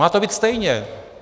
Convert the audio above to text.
Má to být stejně.